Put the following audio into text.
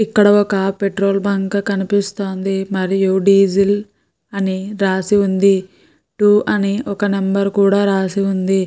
ఇక్కడ ఒక petrol bunk కనిపిస్తోంది. మరియు డీజిల్ అని రాసి ఉంది. టు అని ఒక నెంబర్ కూడా రాసి ఉంది.